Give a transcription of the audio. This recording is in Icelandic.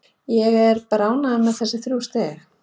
Ég er bara ánægð með þessi þrjú stig.